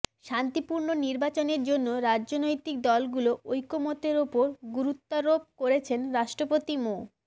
শান্তিপূর্ণ নির্বাচনের জন্য রাজনৈতিক দলগুলো ঐকমত্যের ওপর গুরুত্বারোপ করেছেন রাষ্ট্রপতি মো